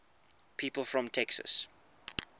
people from texas